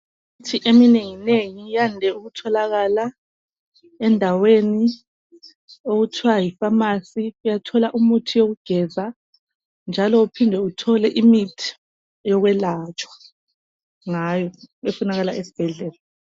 Imithi eminengi nengi yande ukutholakala endaweni okuthiwa yipharmacy .Uyathola umuthi wokugeza njalo uphinde uthole imithi yokwelatshwa ngayo efunakala esbhedlela .